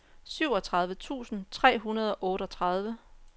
syvogtredive tusind tre hundrede og otteogtredive